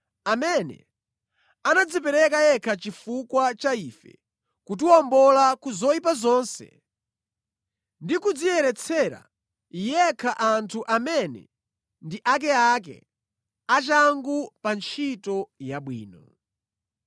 amene anadzipereka yekha chifukwa cha ife kutiwombola ku zoyipa zonse ndi kudziyeretsera yekha anthu amene ndi akeake, achangu pa ntchito yabwino.